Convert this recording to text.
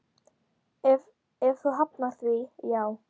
Ef þú hafnar því, já.